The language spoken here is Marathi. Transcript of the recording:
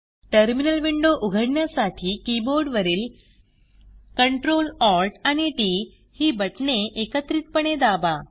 टर्मिनल विंडो उघडण्यासाठी कीबोर्ड वरील Ctrl Alt आणि टीटी ही बटणे एकत्रितपणे दाबा